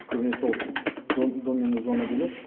көбінесе ол до минус зона дейді